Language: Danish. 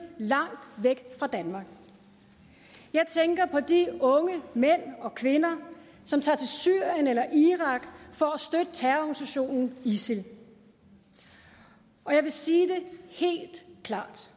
langt væk fra danmark jeg tænker på de unge mænd og kvinder som tager til syrien eller irak for at støtte terrororganisationen isil og jeg vil sige det helt klart